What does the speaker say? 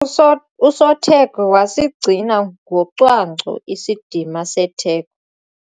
Uso usotheko wasigcina ngocwangco isidima setheko.